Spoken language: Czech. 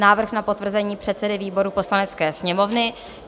Návrh na potvrzení předsedy výboru Poslanecké sněmovny